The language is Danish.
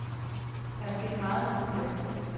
Der er sket meget siden da.